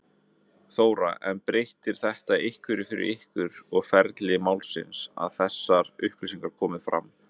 Þóra: En breytir þetta einhverju fyrir ykkur og ferli málsins að þessar upplýsingar komi fram?